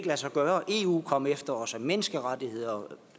lade sig gøre og eu kom efter os og menneskerettigheder